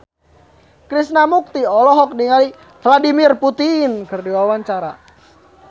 Krishna Mukti olohok ningali Vladimir Putin keur diwawancara